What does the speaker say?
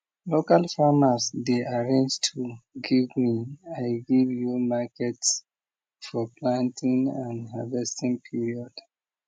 local farmers dey arrange tool give me i give you market for planting and harvesting period